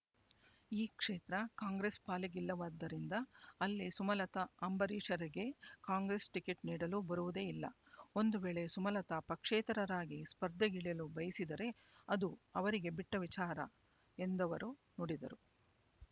ಈ ಕ್ಷೇತ್ರ ಕಾಂಗ್ರೆಸ್ ಪಾಲಿಗಿಲ್ಲವಾದ್ದರಿಂದ ಅಲ್ಲಿ ಸುಮಲತಾ ಅಂಬರೀಷರಿಗೆ ಕಾಂಗ್ರೆಸ್ ಟಿಕೆಟ್ ನೀಡಲು ಬರುವುದೇ ಇಲ್ಲ ಒಂದು ವೇಳೆ ಸುಮಲತಾ ಪಕ್ಷೇತರರಾಗಿ ಸ್ಪರ್ಧೆಗಿಳಿಯಲು ಬಯಸಿದರೆ ಅದು ಅವರಿಗೆ ಬಿಟ್ಟ ವಿಚಾರ ಎಂದವರು ನುಡಿದರು